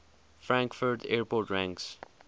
frankfurt airport ranks